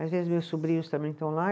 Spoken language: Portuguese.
Às vezes meus sobrinhos também estão lá.